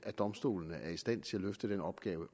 domstolene er i stand til at løfte den opgave